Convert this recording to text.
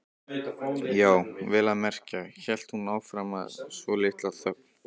Já, vel að merkja, hélt hún áfram eftir svolitla þögn.